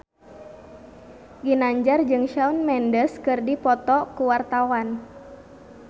Ginanjar jeung Shawn Mendes keur dipoto ku wartawan